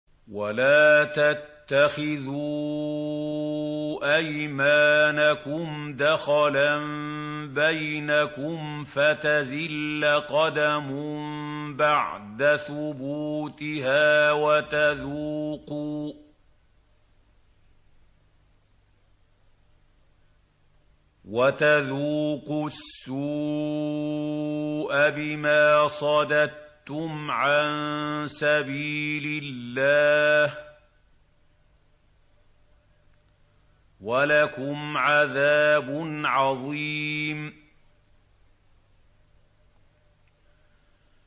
وَلَا تَتَّخِذُوا أَيْمَانَكُمْ دَخَلًا بَيْنَكُمْ فَتَزِلَّ قَدَمٌ بَعْدَ ثُبُوتِهَا وَتَذُوقُوا السُّوءَ بِمَا صَدَدتُّمْ عَن سَبِيلِ اللَّهِ ۖ وَلَكُمْ عَذَابٌ عَظِيمٌ